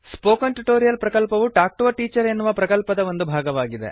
spoken tutorial ಪ್ರಕಲ್ಪವು talk to a teacher ಎನ್ನುವ ಪ್ರಕಲ್ಪದ ಒಂದು ಭಾಗವಾಗಿದೆ